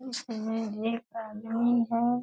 उसमें एक आदमी है।